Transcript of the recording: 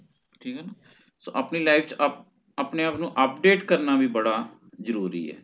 ਆਪਣੀ life ਚ ਅਪ ਆਪਣੇ ਆਪ ਨੂ update ਕਰਨਾ ਵੀ ਬੜਾ ਜਰੂਰੀ ਹੈ ਹੋਣ